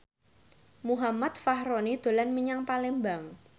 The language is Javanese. Muhammad Fachroni dolan menyang Palembang